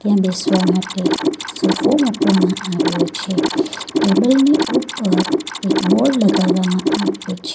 ત્યાં બેસવા માટે સોફો મૂકવામાં આવ્યો છે ટેબલ ની ઉપર એક બોર્ડ લગાવામાં આવ્યું છે.